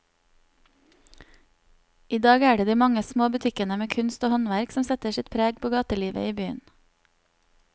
I dag er det de mange små butikkene med kunst og håndverk som setter sitt preg på gatelivet i byen.